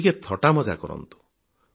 ଟିକିଏ ଥଟ୍ଟା ମଜା କରନ୍ତୁ